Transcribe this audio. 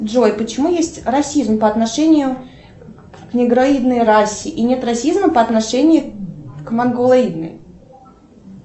джой почему есть расизм по отношению к негроидной расе и нет расизма по отношению к монголоидной